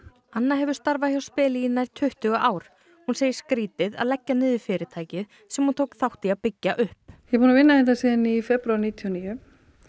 anna hefur starfað hjá speli í nær tuttugu ár hún segir skrítið að leggja niður fyrirtækið sem hún tók þátt í að byggja upp ég er búin að vinna hérna síðan í febrúar níutíu og níu